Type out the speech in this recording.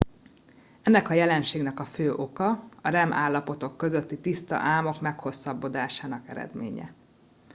ennek a jelenségnek a fő oka a rem állapotok közötti tiszta álmok meghosszabbodásának eredménye